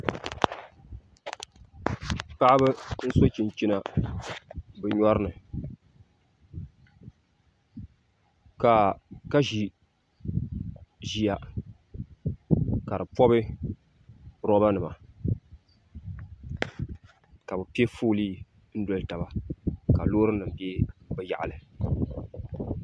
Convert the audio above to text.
Paɣaba n so chinchina bi nyori ni ka ʒi ʒiya ka di pobi roba nima ka bi piɛ foolii n doli taba ka loori nim bɛ bi yaɣali